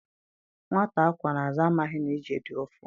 Nwata a kwọ n' azụ amaghị na ije dị ụfụ